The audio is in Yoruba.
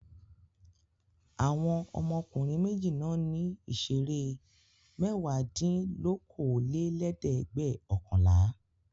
Àwọn ọmọkùnrin méjì náà ní ìṣeré mẹ́wàádínlókòólélẹ́ẹ̀dẹ́gbẹ̀ọ̀kànlá.